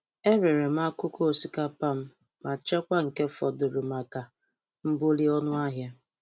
Erere m akụkụ osikapa m machekwa nke fọdụrụ maka mbuli ọnụ ahia.